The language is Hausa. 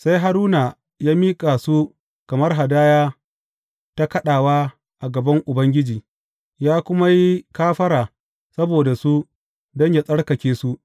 Sai Haruna ya miƙa su kamar hadaya ta kaɗawa a gaban Ubangiji, ya kuma yi kafara saboda su don yă tsarkake su.